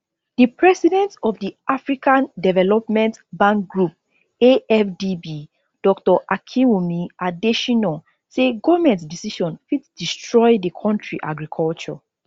di president of di african development bank group afdb dr akinwumi adesina say goment decision fit destroy di kontri agriculture